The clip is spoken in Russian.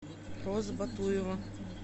роза батуева